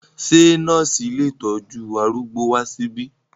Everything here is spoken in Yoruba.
Ṣé nọ́ọ̀sì ilé ìtọ́jú arúgbó wá síbí?